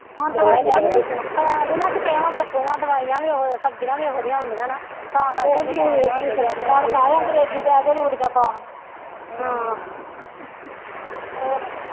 ਹੁਣ ਦਵਾਈ ਪੈ ਜਾਂਦੀਆਂ ਸਪਰੇਆਂ ਸੁਪਰੇਆ ਦਵਾਈਆਂ ਵੀ ਓਹੋ ਸਬਜ਼ੀਆਂ ਵੀ ਓਹੋ ਜਿਹੀਆਂ ਆਉਂਦੀਆਂ ਨਾ ਤਾ ਕਰਕੇ ਕੌਣ ਮੈ ਅੰਗਰੇਜ਼ੀ ਦੇ ਪੈ ਰੂੜੀਆਂ ਪਾਉਣ ਹੋਰ